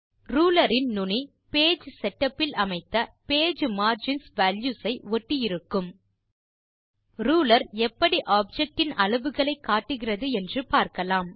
ruler இன் நுனி Page setup இல் அமைத்த பேஜ் மார்ஜின்ஸ் வால்யூஸ் ஐ ஒட்டி இருக்கும் ரூலர் எப்படி ஆப்ஜெக்ட் இன் அளவுகளை காட்டுகிறது என்று பார்க்கலாம்